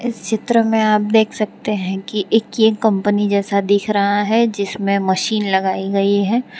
इस चित्र में आप देख सकते हैं कि एक ये कंपनी जैसा दिख रहा है जिसमें मशीन लगाई गई है।